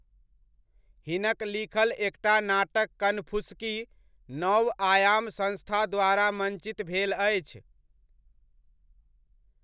हिनक लिखल एकटा नाटक कनफुसकी नवआयाम संस्था द्वारा मञ्चित भेल अछि।